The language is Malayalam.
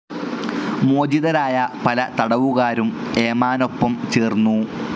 മോചിതരായ പല തടവുകാരും ഏമാനൊപ്പം ചേർന്നു.